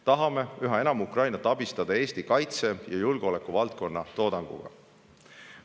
Tahame üha enam Ukrainat abistada Eesti kaitse- ja julgeolekuvaldkonna toodanguga.